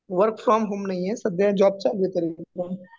Work from home नाहीये. सध्या job चालू आहे